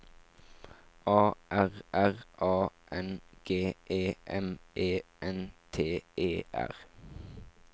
A R R A N G E M E N T E R